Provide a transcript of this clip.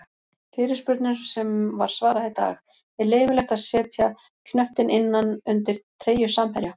Fyrirspurnum sem var svarað í dag:-Er leyfilegt að setja knöttinn innan undir treyju samherja?